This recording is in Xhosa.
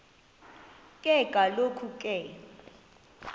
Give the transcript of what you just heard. ke kaloku ke